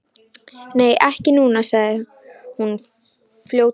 Nei, ekki núna, sagði hún fljótmælt.